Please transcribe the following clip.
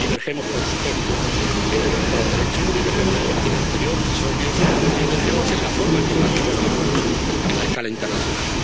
Divergimos, por supuesto, en el Estado de Derecho, divergimos en política exterior —es obvio— y divergimos en la forma en que planteamos los asuntos en la escala internacional.